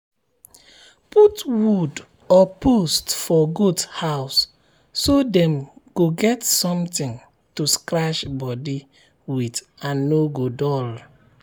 put wood or post for goat house so dem go get something to scratch body with and no go dull.